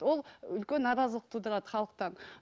ол үлкен наразылық тудырады халықтан